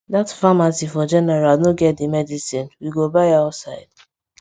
that pharmacy for general no get the medicine we go buy outside